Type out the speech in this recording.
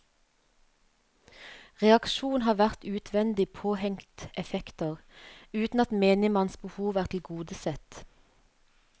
Reaksjon har vært utvendig påhengt effekter, uten at menigmanns behov er tilgodesett.